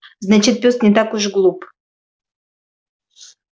значит пёс не так уж глуп